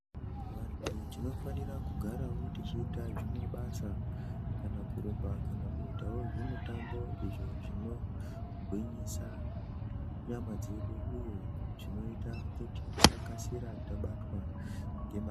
Vantu tinofanira kugarawo tichiita zvimabasa kana kurumba kana kuitawo zvimitambo izvo zvinogwinyisa nyama dzedu uye zvinoita kuti tisakasira tabatwa ngema...